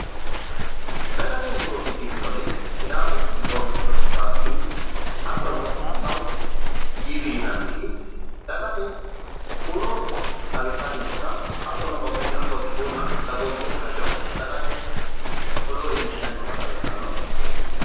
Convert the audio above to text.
Dagate huuro ikkitinori sidaamu broadcaste hattono southe tv yinanniti dagate huuro xawissanni noota hattono poletikunna dagoomittete hajo dagate odoo iillishshanni noota leellishshanni misileeti.